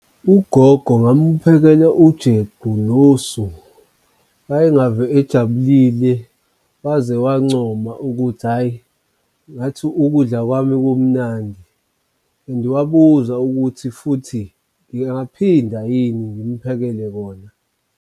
Ugogo ngamphekela ujeqe nosu. Wayengave ejabulile, waze wancoma ukuthi, hhayi ngathi ukudla kwami kumnandi and wabuza ukuthi futhi ngingaphinda yini ngimphekele kona.